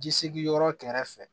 Jisigi yɔrɔ kɛrɛfɛ